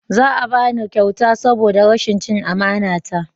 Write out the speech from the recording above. Za a bani kyauta saboda rashin cin amana ta